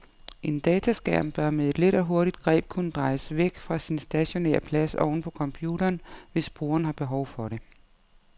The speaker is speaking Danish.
En dataskærm bør med et let og hurtigt greb kunne drejes væk fra sin stationære plads oven på computeren, hvis brugeren har behov for det.